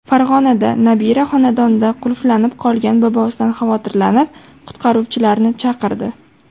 Farg‘onada nabira xonadonda qulflanib qolgan bobosidan xavotirlanib, qutqaruvchilarni chaqirdi.